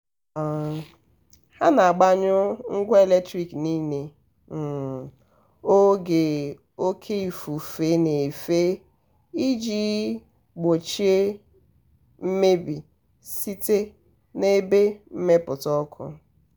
um ha na-agbanyụ ngwa eletrik niile um oge oke um ifufe na-efe iji gbochie mmebi site n'ebe mmepụta ọku.